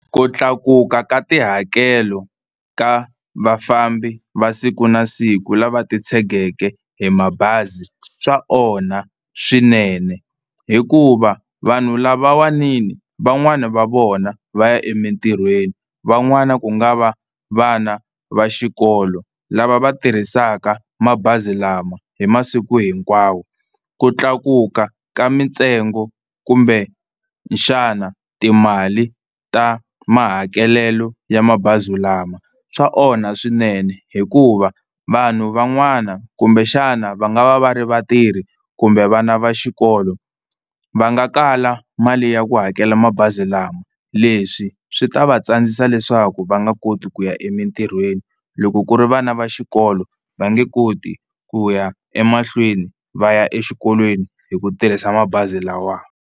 Ku tlakuka ka tihakelo ka vafambi va siku na siku lava titshegeke hi mabazi swa onha swinene, hikuva vanhu lavawani ni van'wani va vona va ya emitirhweni van'wani ku nga va vana va xikolo lava va tirhisaka mabazi lama hi masiku hinkwawo. Ku tlakuka ka mintsengo kumbexana timali ta mahakelelo ya mabazi lama swa onha swinene, hikuva vanhu van'wana kumbexana va nga va va ri vatirhi kumbe vana va xikolo va nga kala mali ya ku hakela mabazi lama, leswi swi ta va tsandzisa leswaku va nga koti ku ya emitirhweni loko ku ri vana va xikolo va nge koti ku ya emahlweni va ya exikolweni hi ku tirhisa mabazi lawa.